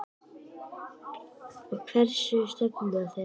Og hver er nú stefna þeirra?